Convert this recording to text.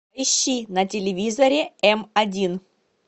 ищи на телевизоре м один